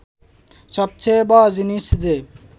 সবচেয়ে বড় জিনিস যে